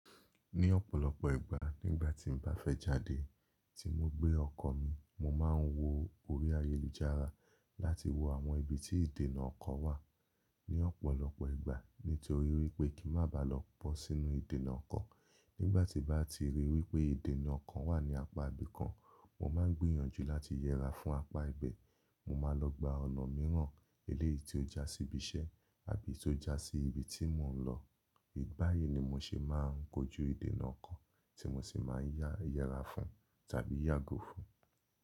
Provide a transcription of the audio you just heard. Ní ọ̀pọ̀lọpọ̀ ìgbà nígbà tí n bá fẹ́ jáde tí mo gbé ọkọ̀ mi, mo máa ń wo orí ayélujára láti wo àwọn ibi tí ìdènà ọkọ̀ wà. Ní ọ̀pọ̀lọpọ̀ ìgbà nítorí wípé kí n má ba lọ bọ́ sínú ìdènà ọkọ̀. Nígbà tí bá ti ríi wípé ìdènà ọkọ̀ wà ní apá ibi kan, mo máa ń gbìyànjú láti yẹra fún apá ibẹ̀. Mo máa lọ gba ọ̀nà mìíràn eléyìí tí ó já sí ibi iṣẹ́ àbí tí ó já sí ibi tí mò ń lọ. Báyi ni mo ṣe máa ń kojú ìdènà ọkọ̀ tí mo sì máa ń yá yẹra fún tàbí yàgo fún.